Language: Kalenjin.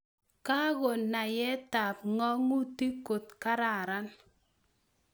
Kangonayet tab ng'atutik kot kararan